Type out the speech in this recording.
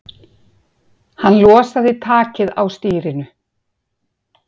Hann losaði takið á stýrinu.